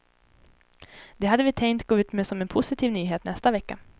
Det hade vi tänkt gå ut med som en positiv nyhet nästa vecka.